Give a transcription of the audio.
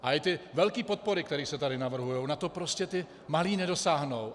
A i ty velké podpory, které se tady navrhují, na to prostě ti malí nedosáhnou.